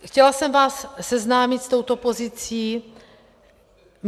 Chtěla jsem vás seznámit s touto pozicí.